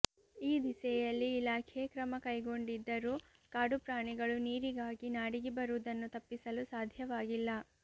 ಈ ದಿಸೆಯಲ್ಲಿ ಇಲಾಖೆ ಕ್ರಮ ಕೈಗೊಂಡಿದ್ದರೂ ಕಾಡುಪ್ರಾಣಿಗಳು ನೀರಿಗಾಗಿ ನಾಡಿಗೆ ಬರುವುದನ್ನು ತಪ್ಪಿಸಲು ಸಾಧ್ಯವಾಗಿಲ್ಲ